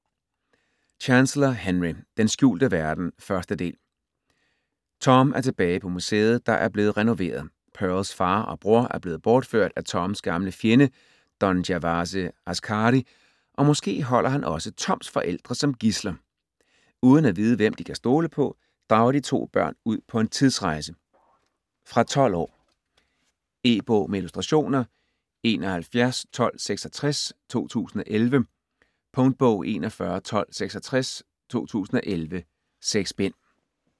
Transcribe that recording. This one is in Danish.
Chancellor, Henry: Den skjulte verden: 1. del Tom er tilbage på museet, der er blevet renoveret. Pearls far og bror er blevet bortført af Toms gamle fjende Don Gervase Askary og måske holder han også Toms forældre som gidsler. Uden at vide hvem de kan stole på, drager de to børn ud på en tidsrejse. Fra 12 år. E-bog med illustrationer 711266 2011. Punktbog 411266 2011. 6 bind.